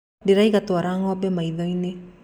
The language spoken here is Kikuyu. Ndĩraiga twara ngombe marĩthio-inĩ.